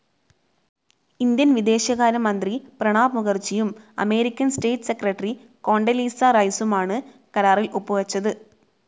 Indian വിദേശകാരമന്ത്രി പ്രണാബ് മുഖർജിയും American state secretary Condoleezza റൈസുമാണ് കരാറിൽ ഒപ്പുവെച്ചത്.